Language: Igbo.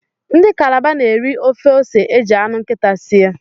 Ndi calabar n'eri ofe ose eji anu nkita sie